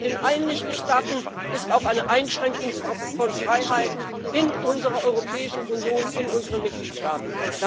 Was wir den einen nicht gestatten, ist auch eine Einschränkung von Freiheit in unserer Europäischen Union, in unseren Mitgliedstaaten.